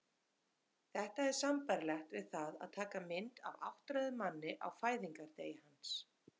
Þetta er sambærilegt við það að taka mynd af áttræðum manni á fæðingardegi hans.